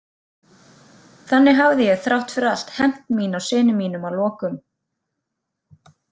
Þannig hafði ég þrátt fyrir allt hefnt mín á syni mínum að lokum.